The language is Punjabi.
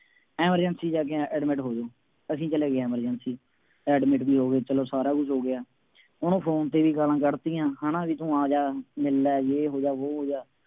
emergency ਜਾ ਕੇ admit ਹੋ ਜਾਉ। ਅਸੀਂ ਚਲੇ ਗਏ emergency admit ਵੀ ਹੋ ਗਏ, ਚੱਲੋ ਸਾਰਾ ਕੁੱਛ ਹੋ ਗਿਆਂ, ਉਹਨੂੰ ਫੌਨ ਤੇ ਵੀ ਗਾਲਾਂ ਕੱਢਤੀਆਂ, ਹੈ ਨਾ, ਬਈ ਤੂੰ ਆ ਜਾ, ਮਿਲ ਲੈ, ਯੇਹ ਹੋ ਗਿਆ, ਵੋਹ ਹੋ ਗਿਆ।